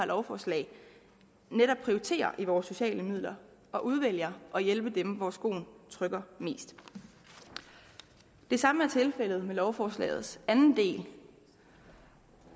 lovforslag netop prioriterer i vores sociale midler og udvælger at hjælpe dem hvor skoen trykker mest det samme er tilfældet med lovforslagets anden del